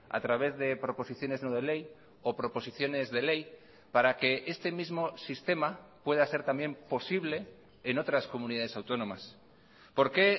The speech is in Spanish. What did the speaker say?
a través de proposiciones no de ley o proposiciones de ley para que este mismo sistema pueda ser también posible en otras comunidades autónomas por qué